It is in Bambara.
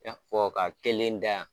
Ka fɔ ka kelen da yan.